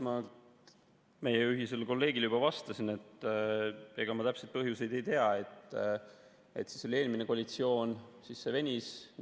Ma meie ühisele kolleegile juba vastasin, et ega ma täpseid põhjuseid ei tea, siis oli eelmine koalitsioon, kui see venis.